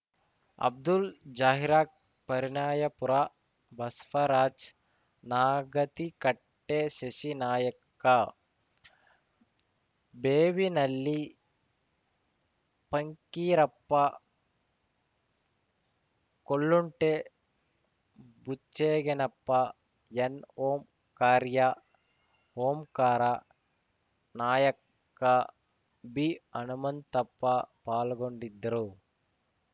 ಅಬ್ದುಲ್‌ ಜಾಹಿರಾಕ್ ಪರಿಣಾಯಾಪುರ ಬಸ್ವರಾಜ್ ನಾಗತಿಕಟ್ಟೆಶಶಿ ನಾಯಕ ಬೇವಿನಳ್ಳಿ ಪಂಕ್ಕೀರಪ್ಪ ಕೊಲ್ಲುಂಟೆ ಬುಚ್ಚೆಗೆನಪ್ಪ ಎನ್‌ಓಂಕಾರ್ಯ ಓಂಕಾರ ನಾಯಕ್ಕ ಬಿಹನುಮಂತಪ್ಪ ಪಾಲ್ಗೊಂಡಿದ್ದರು